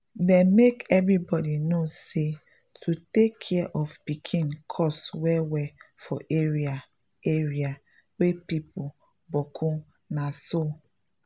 dem make everybody knw say to take care of pikin costs well well for area area wey people boku na so.